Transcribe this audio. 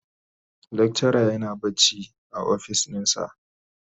lecturer yana bacci a ofis dinsa.